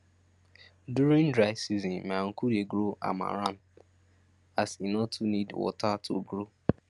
during dry season my uncle dey grow amaranth as e no too need water to grow